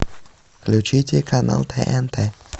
включите канал тнт